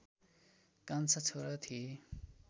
कान्छा छोरा थिए